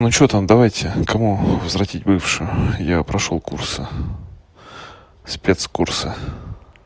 ну что там давайте кому возвратить бывшую я прошёл курсы спецкурсы